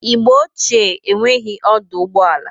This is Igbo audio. Igbo ochie enwereghi ọdụ ụgbọ ala.